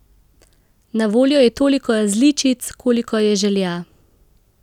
Na voljo je toliko različic, kolikor je želja!